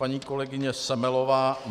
Paní kolegyně Semelová.